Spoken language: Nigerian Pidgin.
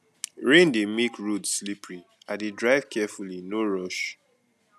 rain dey make road slippery i dey drive carefully no rush